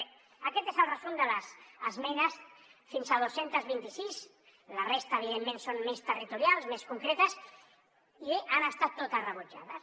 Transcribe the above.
bé aquest és el resum de les esmenes fins a dos cents i vint sis la resta evidentment són més territorials més concretes i bé han estat totes rebutjades